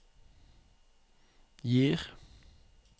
gir